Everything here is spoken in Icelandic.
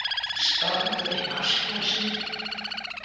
Stormur í vatnsglasi